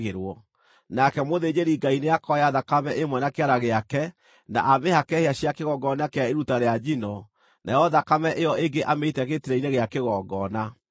Nake mũthĩnjĩri-Ngai nĩakoya thakame ĩmwe na kĩara gĩake, na amĩhake hĩa cia kĩgongona kĩa iruta rĩa njino, nayo thakame ĩyo ĩngĩ amĩite gĩtina-inĩ gĩa kĩgongona.